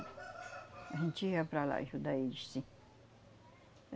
A gente ia para lá ajudar eles, sim.